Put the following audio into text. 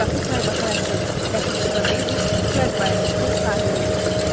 Qapı taybatay açıldı, Ləpirçi və Meybl cəld bayıra çıxıb sahilə yönəldilər.